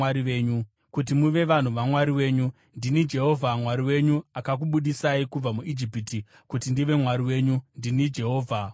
Ndini Jehovha Mwari wenyu, akakubudisai kubva muIjipiti kuti ndive Mwari wenyu. Ndini Jehovha Mwari wenyu.’ ”